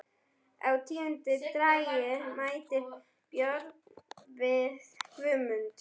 Á tíunda dægri mælti Björn við Guðmund: